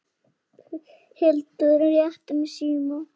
Hildur réttir mér símann.